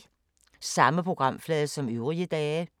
Samme programflade som øvrige dage